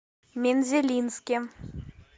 мензелинске